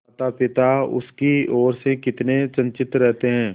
मातापिता उसकी ओर से कितने चिंतित रहते हैं